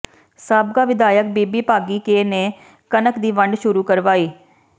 ਸਾਬਕਾ ਵਿਧਾਇਕ ਬੀਬੀ ਭਾਗੀ ਕੇ ਨੇ ਕਣਕ ਦੀ ਵੰਡ ਸ਼ੁਰੂ ਕਰਵਾਈ